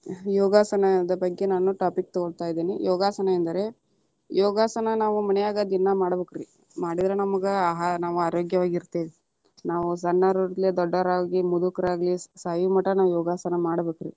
ಯೋಗಾಸನದ ಬಗ್ಗೆ ನಾನು topic ತಗೋಂತಾ ಇದೀನಿ, ಯೋಗಾಸನ ಎಂದರೆ, ಯೋಗಾಸನ ನಾವ ಮನ್ಯಾಗ ದಿನಾ ಮಾಡ್ಬೇಕರೀ ಮಾಡಿದ್ರ ನಮಗ ಆಹಾರ ನಾವ ಆರೋಗ್ಯವಾಗಿ ಇರ್ತೆವಿ. ನಾವು ಸಣ್ಣವರಿರಲಿ ದೊಡ್ಡವರಾಗಲಿ ಮುದುಕರಾಗಲಿ ಸಾಯುಮಠ ನಾವ ಯೋಗಾಸನ ಮಾಡ್ಬೇಕರಿ.